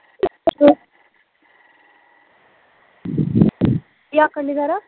ਕੀ ਆਖਣ ਡਈ ਸਾਰਾ